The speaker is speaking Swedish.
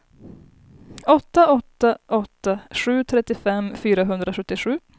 åtta åtta åtta sju trettiofem fyrahundrasjuttiosju